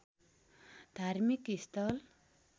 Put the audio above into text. धार्मिक स्थल